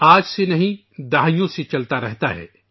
آج سے نہیں ، یہ کئی دہائیوں سے جاری ہے